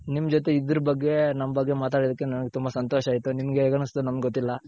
ನಿಮ್ಮ ಜೊತೆ ಇದ್ದರ್ ಬಗ್ಗೆ ನಮ್ಮ ಬಗ್ಗೆ ಮಾತಾಡಿದಿಕ್ಕೇ ತುಂಬಾ ಸಂತೋಷ ಆಯ್ತುನಿಮ್ಮಗ್ ಹೇಗ್ ಅನಸ್ತ್ಹೋ ನಂಗ್ ಗೊತ್ತಿಲ್ಲ .